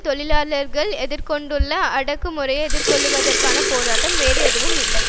தொழிலாளர்கள் எதிர் கொண்டுள்ள அடக்குமுறையை எதிர்கொள்ளுவதற்கான போராட்டம் வேறு ஏதும் இல்லை